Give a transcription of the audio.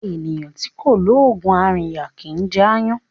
Eeyan ti ko loogun arinya kì í jẹ aayan